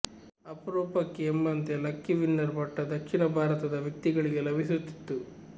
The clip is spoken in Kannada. ಅಪರೂಪಕ್ಕೆ ಎಂಬಂತೆ ಲಕ್ಕಿ ವಿನ್ನರ್ ಪಟ್ಟ ದಕ್ಷಿಣ ಭಾರತದ ವ್ಯಕ್ತಿಗಳಿಗೆ ಲಭಿಸುತ್ತಿತ್ತು